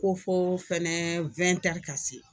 Ko fo fɛnɛ ka se.